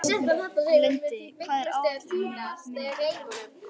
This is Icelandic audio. Lindi, hvað er á áætluninni minni í dag?